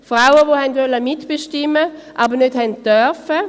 Frauen, die mitbestimmen wollten, aber nicht durften;